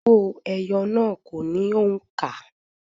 Òwó eyo náà kò ní òǹkà.